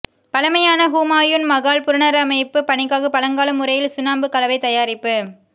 பழமையான ஹூமாயூன் மகால் புனரமைப்பு பணிக்காக பழங்கால முறையில் சுண்ணாம்பு கலவை தயாரிப்பு